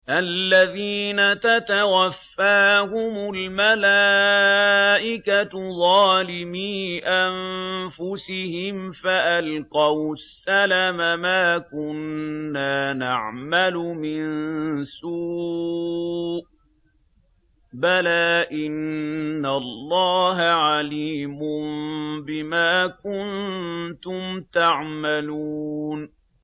الَّذِينَ تَتَوَفَّاهُمُ الْمَلَائِكَةُ ظَالِمِي أَنفُسِهِمْ ۖ فَأَلْقَوُا السَّلَمَ مَا كُنَّا نَعْمَلُ مِن سُوءٍ ۚ بَلَىٰ إِنَّ اللَّهَ عَلِيمٌ بِمَا كُنتُمْ تَعْمَلُونَ